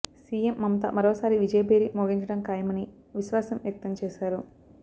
CM Mamata మరోసారి విజయభేరి మోగించడం ఖాయం అని విశ్వాసం వ్యక్తం చేశారు